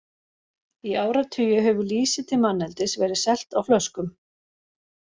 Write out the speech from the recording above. Í áratugi hefur lýsi til manneldis verið selt á flöskum.